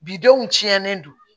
Bidenw tiɲɛlen don